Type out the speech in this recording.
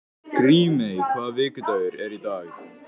Grímey, hvaða vikudagur er í dag?